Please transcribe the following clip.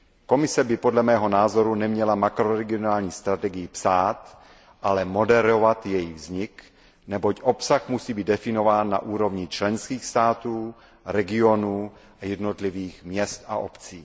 Komise by podle mého názoru neměla makroregionální strategii psát, ale moderovat její vznik, neboť obsah musí být definován na úrovni členských států, regionů a jednotlivých měst a obcí.